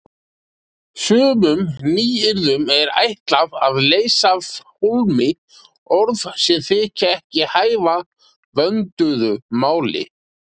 Sumum nýyrðum er ætlað að leysa af hólmi orð sem þykja ekki hæfa vönduðu máli.